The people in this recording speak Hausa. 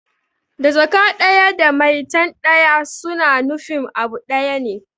Da Jaka ɗaya da maitan ɗaya suna nufin abu ɗaya ne